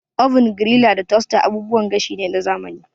Oven, griller da toaster abubuwan gashi ne na zamani.